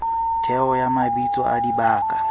theo ya mabitso a dibaka